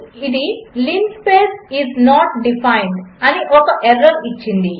అది linspace is not defined అని ఒక ఎర్రర్ ఇచ్చింది